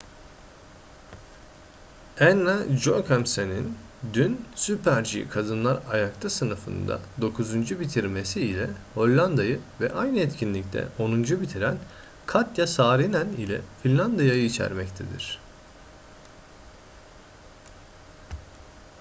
anna jochemsen'in dün super-g kadınlar ayakta sınıfında dokuzuncu bitirmesi ile hollanda'yı ve aynı etkinlikte onuncu bitiren katja saarinen ile finlandiya'yı içermektedir